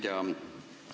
Hea ettekandja!